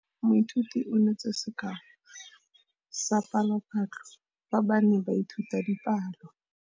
Moithuti o neetse sekaô sa palophatlo fa ba ne ba ithuta dipalo.